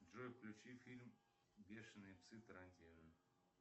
джой включи фильм бешеные псы тарантино